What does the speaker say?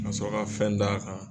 Nasɔrɔ ka fɛn d'a kan